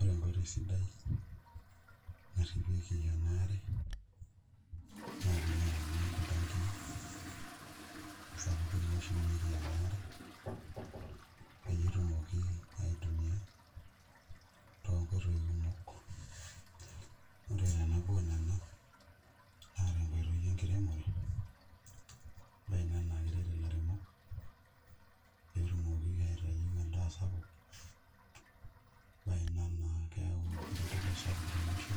Ore enkoitoi sidai, narripieki enaare, na pinyang'uni iltankii sapukin oshumieki enaare, peyie etumoki aitumia tonkoitoi kumok. Ore tenabo onena, naa tenkoitoi enkiremore, ebae ina na keret ilairemok, petumoki aitayu endaa sapuk. Ebae ina naa keu ereteto sapuk tolosho,